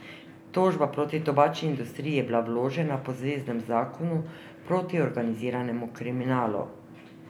Tožba proti tobačni industriji je bila vložena po zveznem zakonu proti organiziranemu kriminalu.